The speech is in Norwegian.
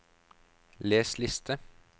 les liste